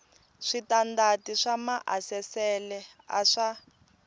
switandati swa maasesele a swa